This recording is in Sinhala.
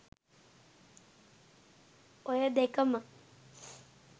ඔය දෙකම